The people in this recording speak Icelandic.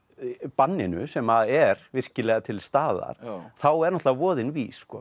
banninu sem er virkilega til staðar þá er náttúrulega voðinn vís